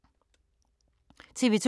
TV 2